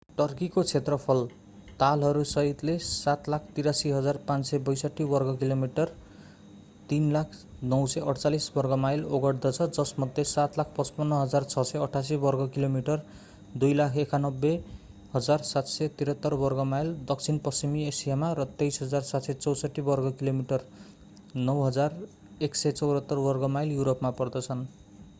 टर्कीको क्षेत्रफल तालहरू सहितले 783,562 वर्गकिलोमिटर 300,948 वर्गमाइल ओगट्दछ जसमध्ये 755,688 वर्गकिलोमिटर 291,773 वर्गमाइल दक्षिणपश्चिमी एसियामा र 23,764 वर्गकिलोमिटर 9,174 वर्गमाइल युरोपमा पर्दछन्।